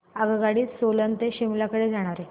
आगगाडी सोलन ते शिमला कडे जाणारी